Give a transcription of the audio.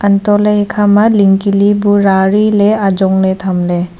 untohley ekhama ling ke libu rariley ajongley thamley.